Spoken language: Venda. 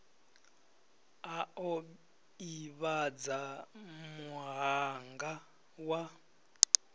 a o ivhadza muhanga wa